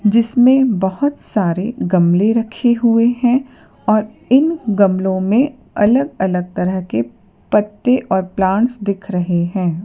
जिसमें बहुत सारे गमले रखे हुए हैं और इन गमलों में अलग-अलग तरह के पत्ते और प्लांट्स दिख रहे हैं।